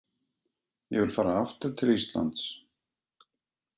Ég vil fara aftur til Íslands.